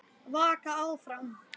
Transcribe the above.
Vaka áfram.